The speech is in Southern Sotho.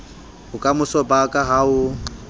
bokamoso ba ka ha o